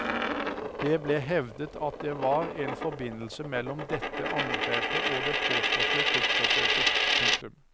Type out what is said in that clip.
Det ble hevdet at det var en forbindelse mellom dette angrepet og det påståtte kuppforsøket. punktum